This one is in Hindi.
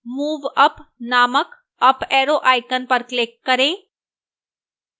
move up named up arrow icon पर click करें